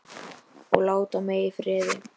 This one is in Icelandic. Og láti mig í friði.